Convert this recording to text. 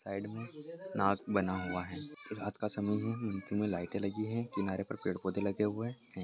Side मे नाट बना हुआ है रात का समय है मे लाइटें लगी है किनारे पर पेड़-पौधे बने हुए हैं।